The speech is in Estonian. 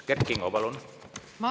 Kert Kingo, palun!